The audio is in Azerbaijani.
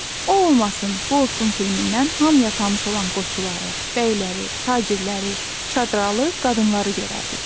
O olmasın, bu olsun filmindən hamıya tanış olan qoçuları, bəyləri, tacirləri, çadralı qadınları görərdik.